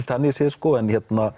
þannig séð en